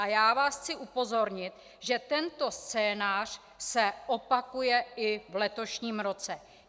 A já vás chci upozornit, že tento scénář se opakuje i v letošním roce.